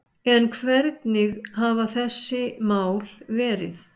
En hvernig hafa þessi mál verið